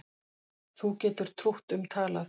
Þú getur trútt um talað